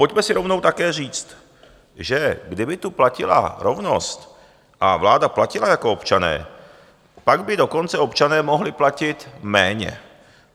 Pojďme si rovnou také říct, že kdyby tu platila rovnost a vláda platila jako občané, pak by dokonce občané mohli platit méně.